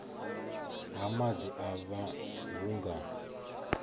ha maḓi afha hu nga